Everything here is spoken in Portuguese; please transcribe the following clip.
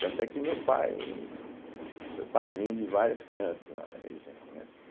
Tanto é que o meu pai foi padrinho de várias crianças lá na região, né.